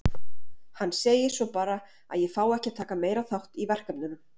Hann segir svo bara að ég fái ekki að taka meira þátt í verkefnunum.